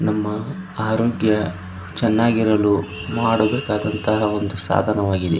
ನಮ್ಮ ಆರೋಗ್ಯ ಚನ್ನಾಗಿರಲು ಮಾಡಬೇಕಾದಂತಹ ಒಂದು ಸಾಧನವಾಗಿದೆ --